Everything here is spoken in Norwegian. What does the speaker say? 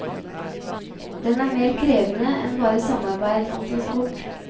Den er mer krevende enn bare samarbeid om transport.